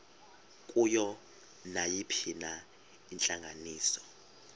kuyo nayiphina intlanganiso